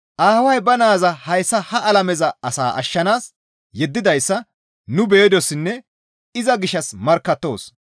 Aaway ba naaza hayssa ha alame asaa ashshanaas yeddidayssa nu be7idossinne iza gishshas markkattoos.